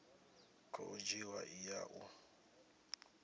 khou dzhiwa i ya u